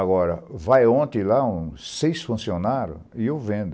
Agora, vai ontem lá seis funcionários e eu vendo.